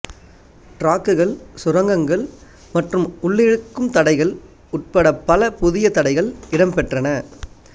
டிராக்குகள் சுரங்கங்கள் மற்றும் உள்ளிழுக்கும் தடைகள் உட்பட பல புதிய தடைகள் இடம்பெற்றன